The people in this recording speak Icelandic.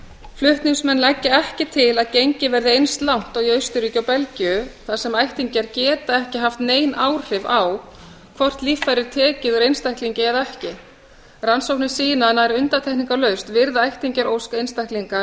flutningsmenn leggja ekki til að gengið verði eins langt og í austurríki og belgíu þar sem ættingjar geta ekki haft nein áhrif á hvort líffæri er tekið úr einstaklingi eða ekki rannsóknir sýna að nær undantekningarlaust virða ættingjar ósk einstaklinga